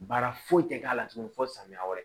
Baara foyi tɛ k'a la tuguni fo samiya wɛrɛ